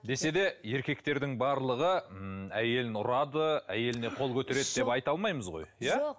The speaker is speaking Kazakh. десе де еркектердің барлығы ммм әйелін ұрады әйеліне қол көтереді деп айта алмаймыз ғой иә